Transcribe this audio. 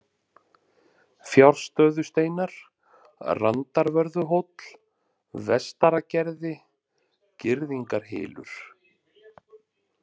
Fjárstöðusteinar, Randarvörðuhóll, Vestaragerði, Girðingarhylur